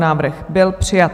Návrh byl přijat.